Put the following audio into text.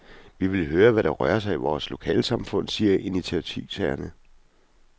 Vi vil høre, hvad der rører sig i vores lokalsamfund, siger initiativtagerne.